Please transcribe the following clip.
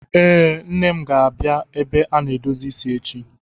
Ee, Nne m ga-abịa ebe a na-edozi isi echi.